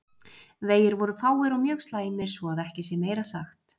Vegir voru fáir og mjög slæmir svo að ekki sé meira sagt.